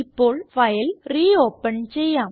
ഇപ്പോൾ file re open ചെയ്യാം